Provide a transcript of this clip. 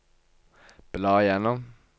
bla gjennom